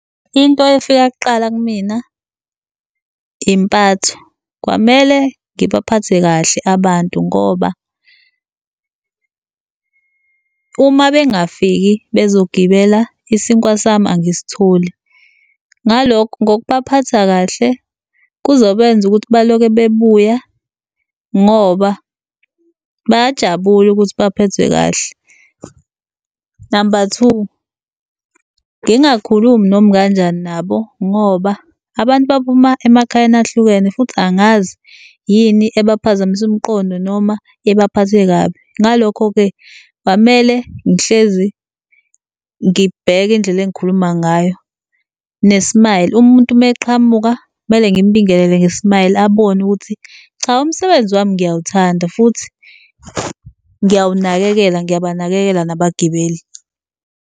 Into efika kuqala kimina impatho, kwamele ngibaphathe kahle abantu ngoba uma bengafiki bezogibela isinkwa sami angisitholi. Ngaloku, ngokubaphatha kahle kuzobenza ukuthi baloke bebuya ngoba bayajabula ukuthi baphethwe kahle. Namba two, ngingakhulumi noma ikanjani nabo ngoba abantu baphuma emakhayeni ahlukene futhi angazi yini ebaphazamise umqondo, noma ebaphathe kabi. Ngalokho-ke, kwamele ngihlezi ngibheke indlela engikhuluma ngayo, ne-smile. Umuntu meqhamuka kumele ngimbingelele nge-smile abone ukuthi cha, umsebenzi wami ngiyawuthanda futhi ngiyawunakekela, ngiyabanakekela nabagibeli.